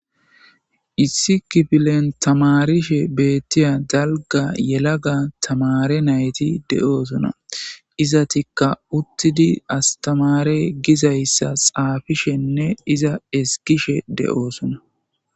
issikifilen tamarishe beettiya dalga yelaga tamare nayti de7oosona iza tikka uttidi astamare gizayssa xaafishenne iza eskishe de7oosona